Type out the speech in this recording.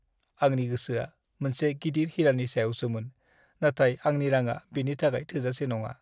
आंनि गोसोआ मोनसे गिदिर हिरानि सायावसोमोन, नाथाय आंनि रांआ बेनि थाखाय थोजासे नङा।